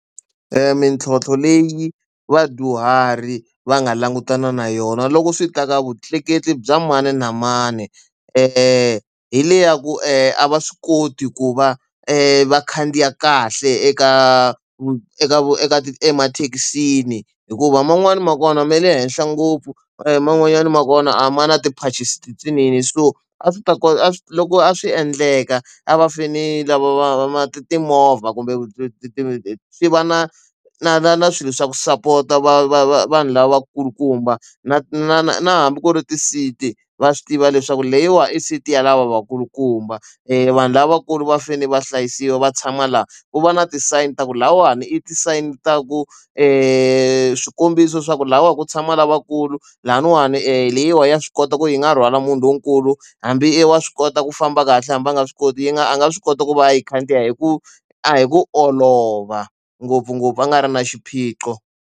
Mintlhotlho leyi vadyuhari va nga langutana na yona loko swi ta ka vutleketli bya mani na mani eya hi le ya ku a va swi koti ku va vakhandziyi kahle eka eka eka emathekisini hikuva man'wani ma kona me le henhla ngopfu e man'wanyani ma kona a ma na tipanchinsi tintsinini so a swi ta kota a loko a swi endleka a va fane lama va ma timovha kumbe ti swi va na na na na swilo swa ku sapota va va va vanhu lavakulukumba na na na na hambi ku ri ti seat va swi tiva leswaku leyiwani i sixty lava vakulukumba vanhu lavakulu va fanele va hlayisiwa va tshama laha ku va na ti-sign ta ku lahawani i ti sign ta ku e swikombiso swa ku lahawani ku tshama lavakulu lavan'wani e leyiwa ya swi kota ku yi nga rhwala munhu lonkulu hambi i wa swi kota ku famba kahle hambi va nga swi koti yi nga a nga swi kota ku va a yi khandziya hi ku a hi ku olova ngopfungopfu a nga ri na xiphiqo.